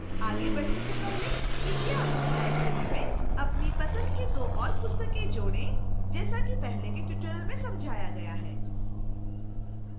आगे बढ़ने से पहले कृपया अपनी library में अपनी पसंद की 2 और पुस्तकें जोड़ें जैसा कि पहले के tutorial में समझाया गया है